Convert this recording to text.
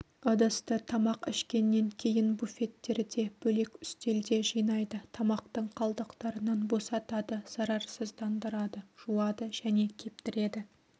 ыдысты тамақ ішкеннен кейін буфеттерде бөлек үстелде жинайды тамақтың қалдықтарынан босатады зарарсыздандырады жуады және кептіреді